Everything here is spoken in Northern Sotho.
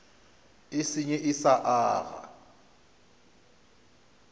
e senye e sa aga